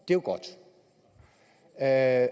og at